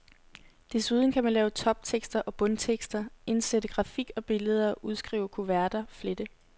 Desuden kan man lave toptekster og bundtekster, indsætte grafik og billeder, udskrive kuverter, flette.